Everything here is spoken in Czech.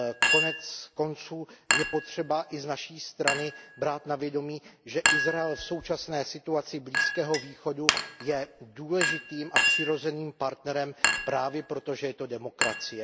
Konec konců je potřeba i z naší strany brát na vědomí, že Izrael v současné situaci Blízkého východu je důležitým a přirozeným partnerem právě proto, že to je demokracie.